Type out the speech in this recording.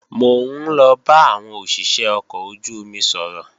Mò ń lọ bá àwọn òṣìṣé ọkọ̀ ojú-omi sọ̀rọ̀